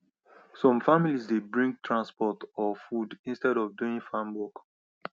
some families dey bring transport or food instead of doing farm work